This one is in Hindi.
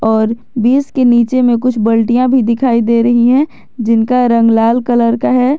और बीस के नीचे में कुछ बल्टियाँ भी दिखाई दे रही है जिनका रंग लाल कलर का है।